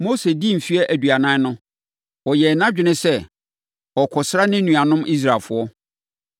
“Mose dii mfeɛ aduanan no, ɔyɛɛ nʼadwene sɛ ɔrekɔsra ne nuanom Israelfoɔ.